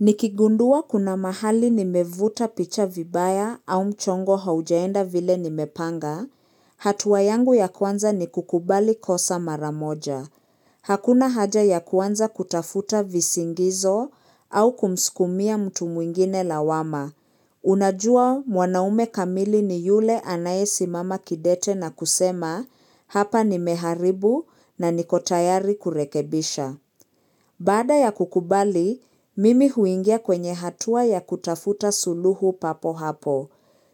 Nikigundua kuna mahali nimevuta picha vibaya au mchongo haujaenda vile nimepanga. Hatua yangu ya kwanza ni kukubali kosa maramoja. Hakuna haja ya kuanza kutafuta visingizo au kumsikumia mtu mwingine lawama. Unajua mwanaume kamili ni yule anayesimama kidete na kusema hapa nimeharibu na niko tayari kurekebisha. Baada ya kukubali, mimi huingia kwenye hatua ya kutafuta suluhu papo hapo.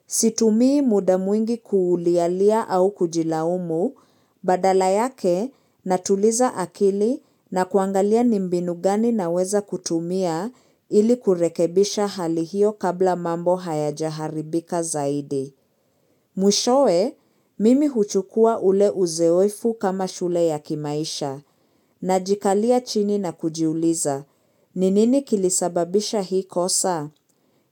Situmii muda mwingi kulialia au kujilaumu, badala yake natuliza akili na kuangalia nimbinu gani naweza kutumia ili kurekebisha hali hio kabla mambo hayaja haribika zaidi. Mwishowe, mimi huchukua ule uzoefu kama shule ya kimaisha najikalia chini na kujiuliza. Ni nini kilisababisha hii kosa?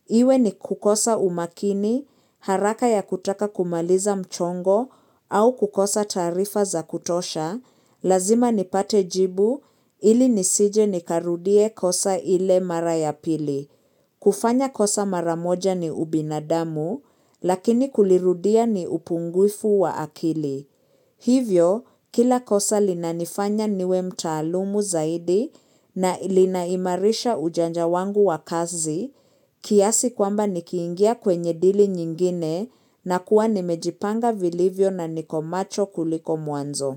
Iwe nikukosa umakini, haraka ya kutaka kumaliza mchongo au kukosa taarifa za kutosha, lazima nipate jibu hili nisije nikarudie kosa ile mara ya pili. Kufanya kosa mara moja ni ubinadamu, lakini kulirudia ni upungufu wa akili. Hivyo, kila kosa linanifanya niwe mtaalumu zaidi na linaimarisha ujanja wangu wa kazi, kiasi kwamba nikiingia kwenye dili nyingine na kuwa nimejipanga vilivyo na niko macho kuliko mwanzo.